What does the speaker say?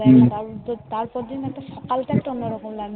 কাল সকাল তা একটু লাগছে